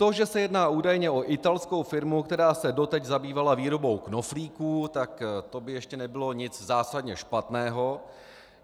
To, že se jedná údajně o italskou firmu, která se doteď zabývala výrobou knoflíků, tak to by ještě nebylo nic zásadně špatného.